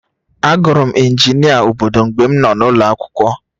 Agụrụ m injinia obodo mgbe m nọ n'ụlọ akwụkwọ